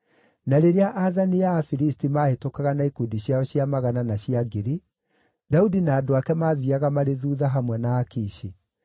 Na rĩrĩa aathani a Afilisti maahĩtũkaga na ikundi ciao cia magana na cia ngiri, Daudi na andũ ake maathiiaga marĩ thuutha hamwe na Akishi.